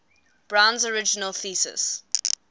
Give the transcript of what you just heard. brown's original thesis